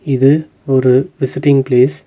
இது ஒரு visiting place .